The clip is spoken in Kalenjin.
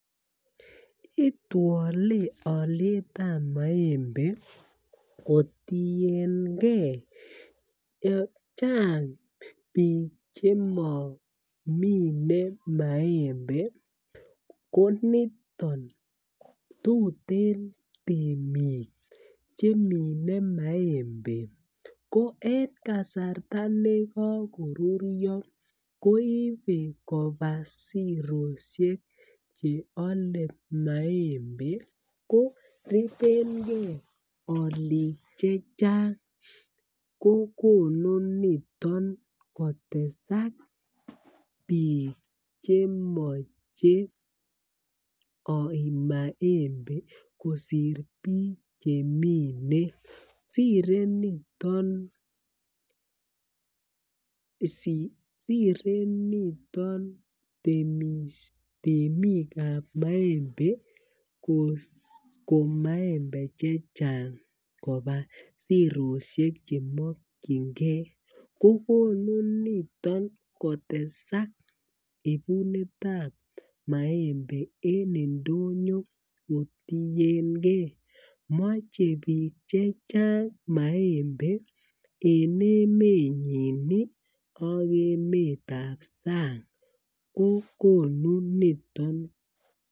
Itwole alyet ab maembe kotienge Chang bik Che momine maembe koniton tuten temik Che mine maembe ko en kasarta nekokoruryo ko ibe koba sirosiek Che ale maembe ko teben ge alik Che Chang kokonu niton kotesak bik Che moche aib maembe kosir bik chemine sire niton temik ab maembe komat koib maembe Che Chang koba sirosiek Che mokyingei kokonu niton kotesak ibunetab maembe en ndonyo kotienge moche bik Che Chang maembe en emenyin ak emetab sang kokonu niton